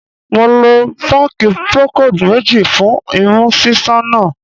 Mo lo páàkì Procold méjì fún imú ṣíṣàn náà.